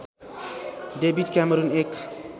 David Cameron एक